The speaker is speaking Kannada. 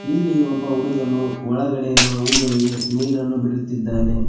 ಇಲ್ಲಿ ಒಬ್ಬ ಹುಡುಗನು ಒಳಗಡೆ ಇರುವ ಹೂಗಳಿಗೆ ನೀರನ್ನು ಬಿಡುತ್ತಿದ್ದಾನೆ.